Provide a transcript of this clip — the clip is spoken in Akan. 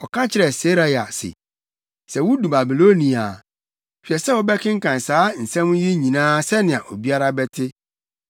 Ɔka kyerɛɛ Seraia se, “Sɛ wudu Babilonia a, hwɛ sɛ wobɛkenkan saa nsɛm yi nyinaa sɛnea obiara bɛte.